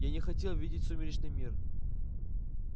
я не хотел видеть сумеречный мир